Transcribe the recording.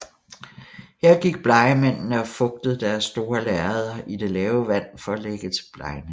Her gik blegemændene og fugtede deres store lærreder i det lave vand for at lægge til blegning